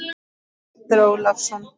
Oddur Ólason.